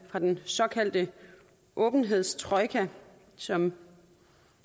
fra den såkaldte åbenhedstrojka som